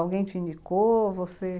Alguém te indicou? você...